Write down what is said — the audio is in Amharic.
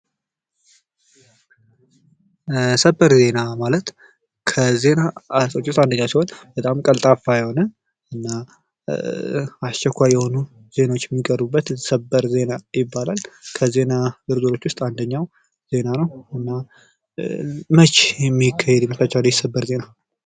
ሰበር ዜና ማለት ከዜና እይታዎች መካከል እንዱ ሲሆን። ቀልጣፋ እና እስቸኳይ የሆኑ ዜናዎች የሚቀርቡበት። ከዜና አይነቶች ውስጥ አንድኛው ነው።